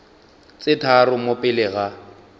tse tharo mo pele ga